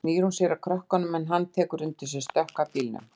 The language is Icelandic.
Svo snýr hún sér að krökkunum en hann tekur undir sig stökk að bílnum.